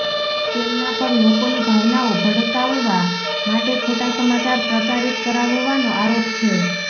તેમના પર લોકોની ભાવનાઓ ભડકાવવા માટે ખોટા સમાચાર પ્રચારિત કરાવવાનો આરોપ છે